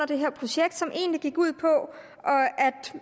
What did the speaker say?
det her projekt som egentlig gik ud på